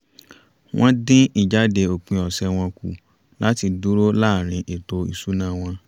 wọ́n dín ìjáde òpin ọ̀sẹ̀ wọn kù láti dúró láàrin ètò ìṣúná wọn